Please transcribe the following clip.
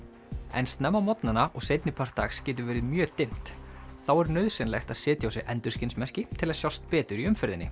en snemma á morgnana og seinni part dags getur verið mjög dimmt þá er nauðsynlegt að setja á sig endurskinsmerki til að sjást betur í umferðinni